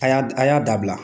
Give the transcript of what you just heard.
A y'a a y'a dabila.